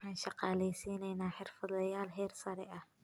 Waxaan shaqaaleysiinaynaa xirfadlayaal heer sare ah.